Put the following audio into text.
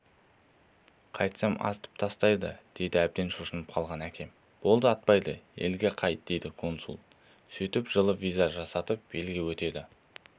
қайтсам атып тастайды дейді әбден шошынып қалған әкем болды атпайды елге қайт дейді консул сөйтіп жылы виза жасатып елге өтеді